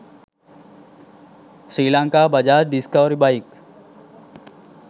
srilanka bajaj discovery bike